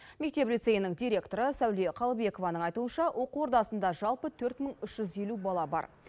мектеп лицейнің директоры сәуле қалыбекованың айтуынша оқу ордасында жалпы төрт мың үш жүз елу бала бар